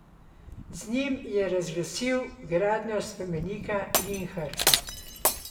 Z njim je razglasil gradnjo spomenika Linhartu.